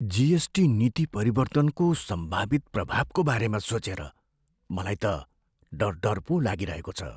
GST नीति परिवर्तनको सम्भावित प्रभावको बारेमा सोचेर मलाई त डर डर पो लागिरहेको छ।